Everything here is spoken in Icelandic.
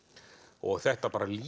og þetta bara